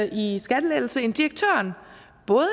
i skattelettelse end direktøren både